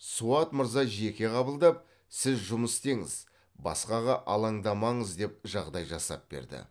суат мырза жеке қабылдап сіз жұмыс істеңіз басқаға алаңдамаңыз деп жағдай жасап берді